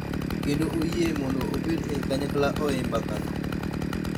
kendo oyie mondo obed e kanyakla o e mbakano.